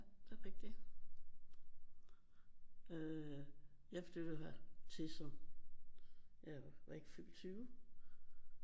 Det er rigtigt øh jeg flyttede hertil som jeg var ikke fyldt 20